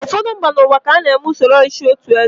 Ụfọdụ mba n'ụwa ka na-eme usoro ọchịchị otụ eze.